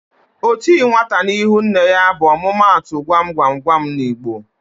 "O ti nwata n'ihu nne ya" bụ omumatu Gwa m gwa m gwa m n'Igbo